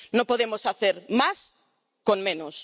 no podemos hacer más con menos.